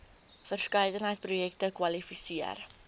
verskeidenheid projekte kwalifiseer